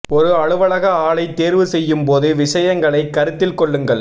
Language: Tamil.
ஒரு அலுவலக ஆலை தேர்வு செய்யும் போது விஷயங்களை கருத்தில் கொள்ளுங்கள்